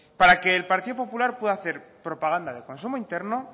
para que el partido popular pueda hacer propaganda de consumo interno